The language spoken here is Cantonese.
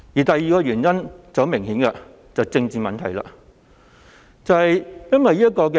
第二個原因很明顯是與政治相關。